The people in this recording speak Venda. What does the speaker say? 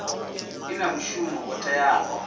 i na mushumo wo teaho